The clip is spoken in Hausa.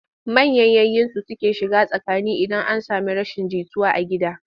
Manyan giga su suke shiga tsakani idan an sami rashin jituwa a gida.